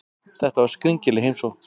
Þetta var skringileg heimsókn.